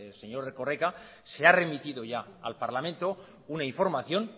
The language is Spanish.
señor erkoreka se ha remitido ya al parlamento una información